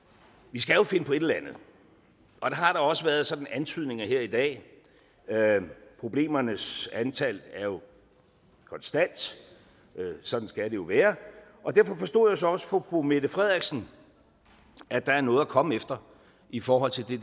vi skal jo finde på et eller andet og der har da også været sådan antydninger af det her i dag problemernes antal er jo konstant sådan skal det jo være og derfor forstod jeg så også på fru mette frederiksen at der er noget at komme efter i forhold til det